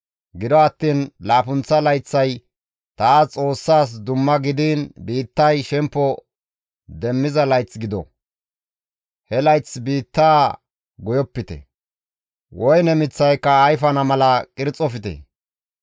Gido attiin laappunththa layththay taas Xoossaas dumma gidiin biittay shemppo demmiza layth gido; he layth biitta goyopite; woyne miththayka ayfana mala qirxofte.